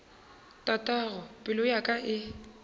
tatago pelo ya ka e